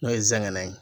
N'o ye zɛŋɛ ye